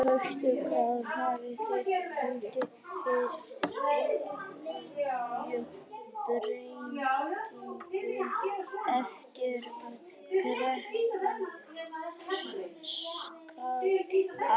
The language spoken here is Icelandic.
Höskuldur Kári: Hafið þið fundið fyrir einhverjum breytingum eftir að kreppan skall á?